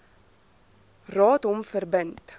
raad hom verbind